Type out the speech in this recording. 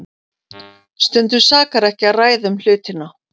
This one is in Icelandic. Stundum sakar ekki að ræða um hlutina.